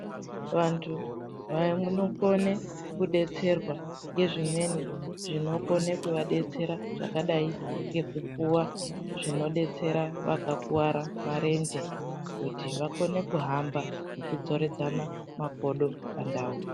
Vanthu vanokone kudetserwa ngezvimweni zvinokone kuvadetsera zvakadai ngekupuwa zvinodetsera vakakuwara marenje kuti vakone kuhamba nekudzoredzana makodo pandau.